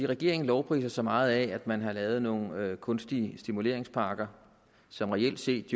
regeringen lovpriser sig meget af at man har lavet nogle kunstige stimuleringspakker som reelt set